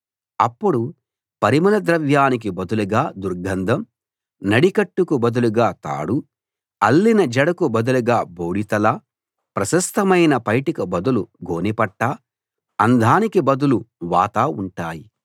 అప్పుడు పరిమళ ద్రవ్యానికి బదులుగా దుర్గంధం నడికట్టుకు బదులుగా తాడూ అల్లిన జడకు బదులుగా బోడి తల ప్రశస్థమైన పైటకు బదులు గోనెపట్టా అందానికి బదులు వాత ఉంటాయి